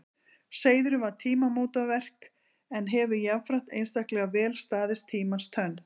Seiðurinn var tímamótaverk en hefur jafnframt einstaklega vel staðist tímans tönn.